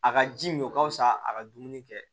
A ka ji min o ka fusa a ka dumuni kɛ